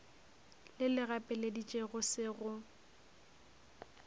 le le gapeleditšego se go